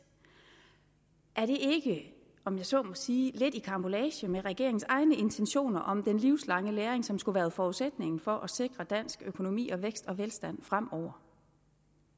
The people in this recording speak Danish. er det ikke om jeg så må sige lidt i karambolage med regeringens egne intentioner om den livslange læring som skulle være forudsætningen for at sikre dansk økonomi og vækst og velstand fremover